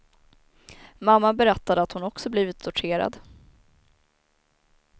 Mamma berättade att hon också blivit torterad.